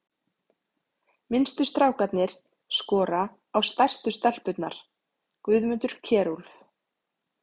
Minnstu strákarnir skora á stærstu stelpurnar: Guðmundur Kjerúlf